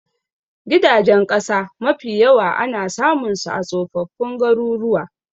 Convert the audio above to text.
Gidajen ƙasa mafi yawa ana samun su a tsofaffin garuruwa